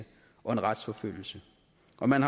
at man